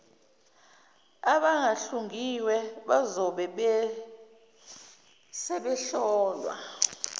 abangahlungiwe bazobe sebehlolwa